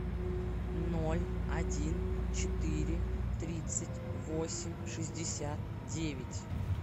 ноль один четыре тридцать восемь шестьдесят девять